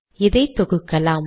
இதை தொகுக்கலாம்